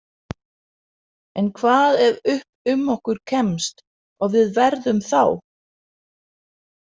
En hvað ef upp um okkur kemst og við verðum þá.